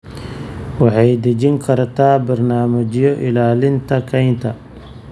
Waxay dejin kartaa barnaamijyo ilaalinta kaynta.